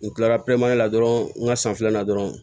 N kilara la dɔrɔn n ga san filanan dɔrɔnw